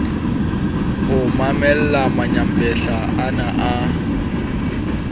ho mamella manyampetla ana a